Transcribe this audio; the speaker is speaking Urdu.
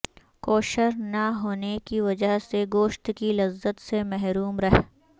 کوشر نا ہونے کی وجہ سے گوشت کی لذت سے محروم رہ